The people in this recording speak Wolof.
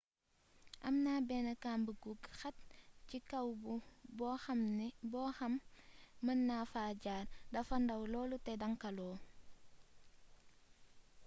amna bénn kamb gu xat ci kaw boxam mëna fa jaar dafa ndaw lool té dancaloo